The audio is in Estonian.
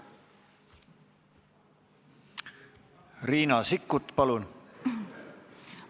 Riina Sikkut, palun!